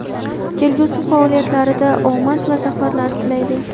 kelgusi faoliyatlarida omad va zafarlar tilaydi!.